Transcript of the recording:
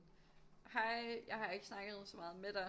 Hej jeg har ikke snakket så meget med dig